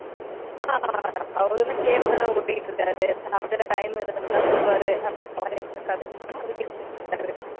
அவர் என்ன cab தானா ஓட்டிட்டு இருக்காரு சாப்பிட time இருந்தா வருவாரு